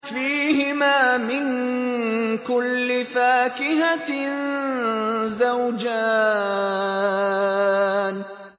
فِيهِمَا مِن كُلِّ فَاكِهَةٍ زَوْجَانِ